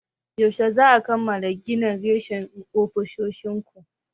Yaushe za'a kammala gina reshen ofishin ku?